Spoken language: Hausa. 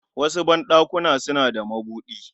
wasu ban ɗakuna suna da madubi